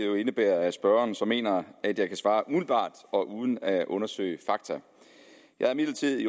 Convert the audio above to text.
jo indebærer at spørgeren så mener at jeg kan svare umiddelbart og uden at undersøge fakta jeg er imidlertid